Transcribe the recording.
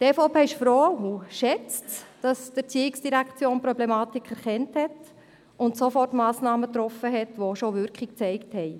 Die EVP ist froh und schätzt es, dass die ERZ die Problematik erkannt und Sofortmassnahmen getroffen hat, die auch bereits Wirkung gezeigt haben.